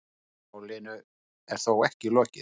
Málinu er þó ekki lokið.